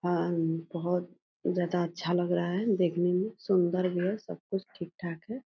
अम्म बहुत ज्यादा अच्छा लग रहा है देखने में। सुन्दर भी है। सब कुछ ठीक ठाक है।